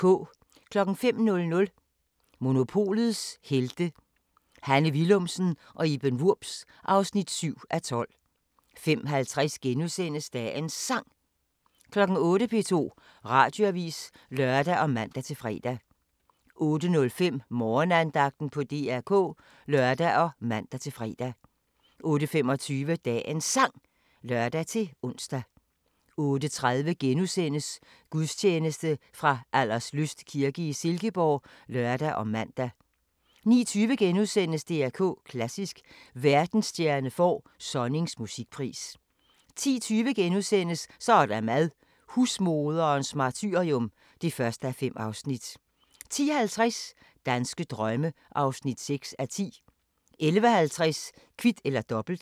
05:00: Monopolets Helte – Hanne Willumsen og Iben Wurbs (7:12) 05:50: Dagens Sang * 08:00: P2 Radioavis (lør og man-fre) 08:05: Morgenandagten på DR K (lør og man-fre) 08:25: Dagens Sang (lør-ons) 08:30: Gudstjeneste fra Alderslyst kirke i Silkeborg *(lør og man) 09:20: DR K Klassisk: Verdensstjerne får Sonnings musikpris * 10:20: Så er der mad – husmoderens martyrium (1:5)* 10:50: Danske drømme (6:10) 11:50: Kvit eller Dobbelt